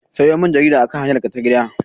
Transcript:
Sayo min jarida akan hanyarka ta gida!